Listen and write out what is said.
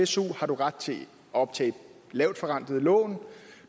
su har du ret til at optage lavt forrentede lån